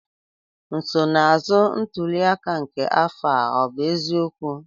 nsonaazụ ntuli aka nke afọ a ọ bụ eziokwu?